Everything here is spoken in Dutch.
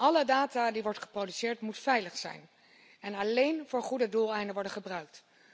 Alle data die worden geproduceerd, moeten veilig zijn en alleen voor goede doeleinden worden gebruikt.